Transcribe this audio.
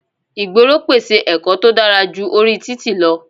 Ìgboro pèsè ẹ̀kọ́ tó dára ju orí títì lọ.